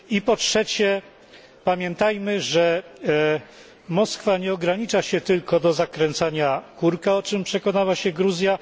Po trzecie pamiętajmy, że Moskwa nie ogranicza się tylko do zakręcania kurka, o czym przekonała się Gruzja.